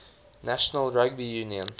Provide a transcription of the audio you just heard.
national rugby union